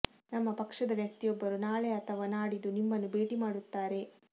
ನಮ್ಮ ಪಕ್ಷದ ವ್ಯಕ್ತಿಯೊಬ್ಬರು ನಾಳೆ ಅಥವಾ ನಾಡಿದು ನಿಮ್ಮನ್ನು ಭೇಟಿ ಮಾಡುತ್ತಾರೆ